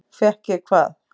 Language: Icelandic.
Fékk ég hvað?